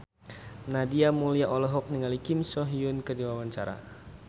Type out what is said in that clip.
Nadia Mulya olohok ningali Kim So Hyun keur diwawancara